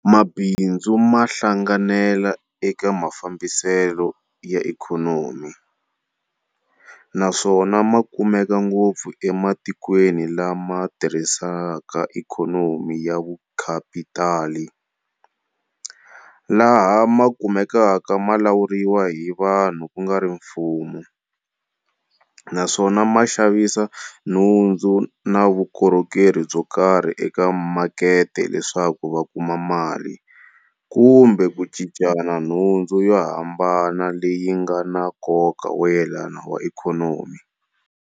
Mabindzu ma hlanganela eka mafambisele ya ikhonomi, naswona makumeka ngopfu ematikweni lama tirhisaka Ikhonomi ya VuKhapitali, laha makumekaka malawuriwa hi vanhu kungari mfumo, naswona ma xavisa nhundzu na vukorhokeri byokarhi eka Makete leswaku vakuma mali kumbe ku cincana nhundzu yo hambana leyi ngana nkoka woyelana wa ikhonomi.